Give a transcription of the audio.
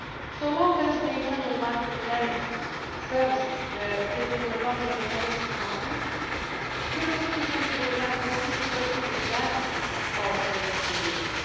energy market. So long as the internal market in energy, services and the digital economy remains incomplete, Europe's citizens will have reason to question the value